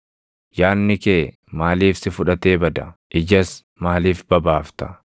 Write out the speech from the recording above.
Yaadni kee maaliif si fudhatee bada? Ijas maaliif babaafta?